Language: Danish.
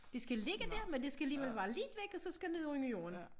Det skal ligge dér men det skal alligevel være lidt væk og så skal det ned under jorden